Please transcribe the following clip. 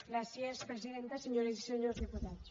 gràcies presidenta senyores i senyors diputats